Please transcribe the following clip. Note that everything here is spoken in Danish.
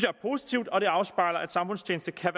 er positivt og det afspejler at samfundstjeneste kan